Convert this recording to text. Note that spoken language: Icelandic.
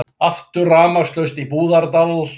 Aftur rafmagnslaust í Búðardal